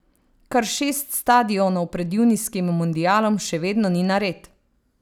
Kar šest stadionov pred junijskim mundialom še vedno ni nared.